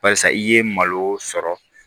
Barisa i ye malo sɔrɔ